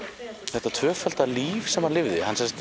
þetta tvöfalda líf sem hann lifði